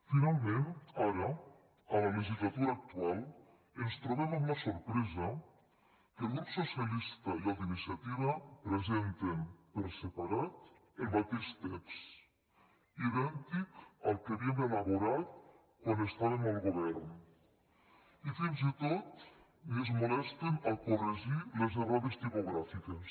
finalment ara a la legislatura actual ens trobem amb la sorpresa que el grup socialista i el d’iniciativa pre·senten per separat el mateix text idèntic al que haví·em elaborat quan estàvem al govern i fins i tot ni es molesten a corregir les errades tipogràfiques